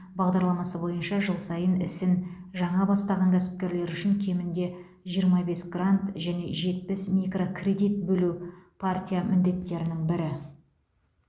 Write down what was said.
бағдарламасы бойынша жыл сайын ісін жаңа бастаған кәсіпкерлер үшін кемінде жиырма бес грант және жетпіс микрокредит бөлу партия міндеттерінің бірі